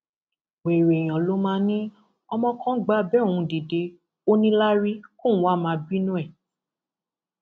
wẹrẹ èèyàn ló máa ní ọmọ kan gba abẹ òun dìde ó níláárí kóun wàá máa bínú ẹ